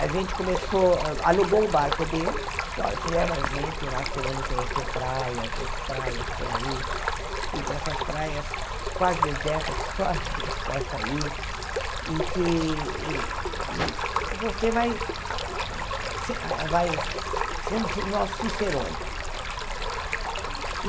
A gente começou, alugou o barco dele, disse, olha, você leva a gente, nós queremos conhecer praias, essas praias por aí, ir para essas praias quase desertas, que só a gente possa ir, e que você vai se vai ser o nosso Cicerone.